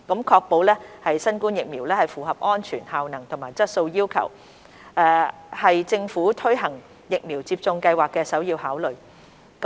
確保新冠疫苗符合安全、效能和質素要求，是政府推行疫苗接種計劃的首要考慮。